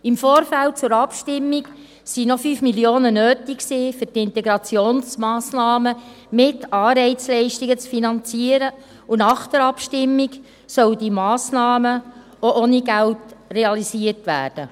Im Vorfeld der Abstimmung waren noch 5 Mio. Franken notwendig, um die Integrationsmassnahmen mit Anreizleistungen zu finanzieren, und nach der Abstimmung sollen diese Massnahmen auch ohne Geld realisiert werden.